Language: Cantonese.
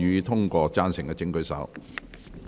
贊成的請舉手。